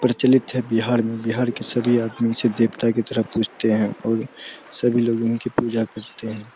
प्रचलित है बिहार में बिहार के सभी आदमी इसे देवता की तरह पूजते है और सभी लोग उनकी पूजा करते हैं।